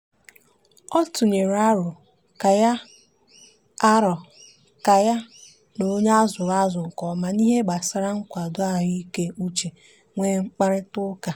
ọ tụnyere arọ ka ya arọ ka ya na onye a zụrụ azụ nke ọma n'ihe gbasara nkwado ahụikeuche nwee mkparịtaụka.